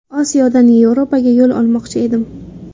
Osiyodan Yevropaga yo‘l olmoqchi edim.